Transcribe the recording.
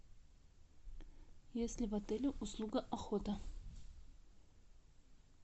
есть ли в отеле услуга охота